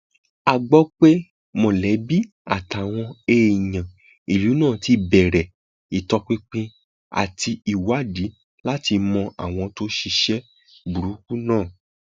a gbọ pé mọlẹbí àtàwọn èèyàn ìlú náà ti bẹrẹ ìtọpinpin àti ìwádìí láti mọ àwọn tó ṣiṣẹ burúkú náà